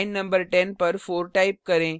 line न 10 पर 4 type करें